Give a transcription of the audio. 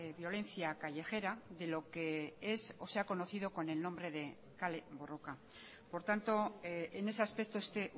violencia callejera de lo que es o se ha conocido con el nombre de kale borroka por tanto en ese aspecto esté